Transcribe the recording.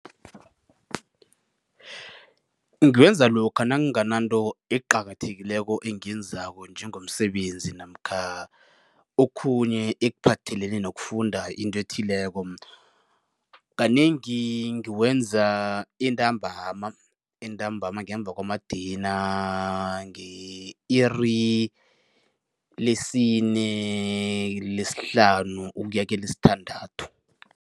Ngiwenza lokha nangingananto eqakathekileko engiyenzako njengomsebenzi namkha okhunye ekuphathelene nokufunda into ethileko. Kanengi ngiwenza entambama, entambama ngemva kwamadina nge-iri lesine, lesihlanu ukuya kelesithandathu.